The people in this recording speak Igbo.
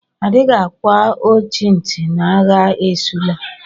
Adịghị àgwà ọchị ntị na-agha esula!!